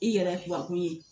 I yɛrɛ ye kuwa kun ye